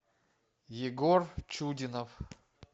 егор чудинов